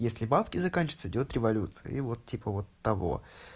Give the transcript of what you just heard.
если бабки заканчиваются идёт революция и вот типа вот того